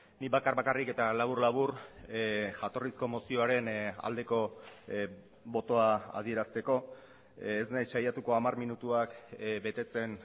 nik bakar bakarrik eta labur labur jatorrizko mozioaren aldeko botoa adierazteko ez naiz saiatuko hamar minutuak betetzen